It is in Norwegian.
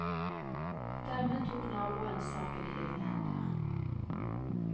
Dermed tok naboen saken i egne hender.